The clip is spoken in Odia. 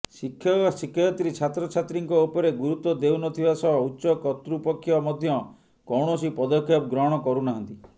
ଶିକ୍ଷକ ଶିକ୍ଷୟତ୍ରୀ ଛାତ୍ରଛାତ୍ରୀଙ୍କ ଉପରେ ଗୁରୁତ୍ୱ ଦେଉନଥିବା ସହ ଉଚ୍ଚ କତ୍ତୃପକ୍ଷ ମଧ୍ୟ କୌଣସି ପଦକ୍ଷେପ ଗ୍ରହଣ କରୁନାହାନ୍ତି